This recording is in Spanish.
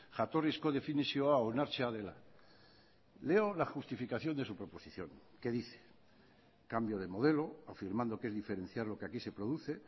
jatorrizko definizioa onartzea dela leo la justificación de su proposición que dice cambio de modelo afirmando que es diferenciar lo que aquí se produce